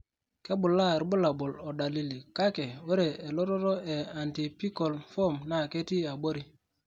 Kebulaa irbulabol o dalili, kaki ore elototo e antypical form naa ketii abori.